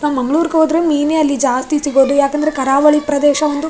ನಾವು ಮಂಗಳೂರ್ಗೋದ್ರು ಮೀನೆ ಅಲ್ಲಿ ಜಾಸ್ತಿ ಸಿಗೋದು ಯಾಕಂದ್ರೆ ಕರವಳಿ ಪ್ರದೇಶ ಒಂದು --